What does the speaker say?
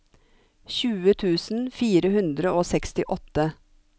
tjue tusen fire hundre og sekstiåtte